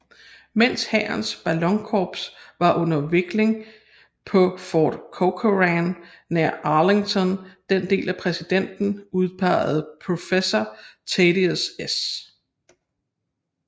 Mens hærens ballonkorps var under vikling på Fort Corcoran nær Arlington den af præsidenten udpegede Professor Thaddeus S